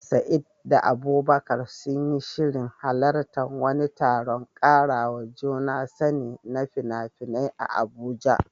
Sa'id da Abubakar sun yi shirin halartar wani taron ƙarawa juna sani na fina-finai a Abuja